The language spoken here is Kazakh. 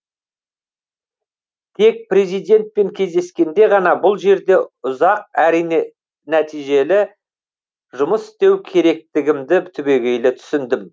тек президентпен кездескенде ғана бұл жерде ұзақ әрине нәтижелі жұмыс істеу керектігімді түбегейлі түсіндім